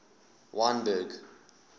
wynberg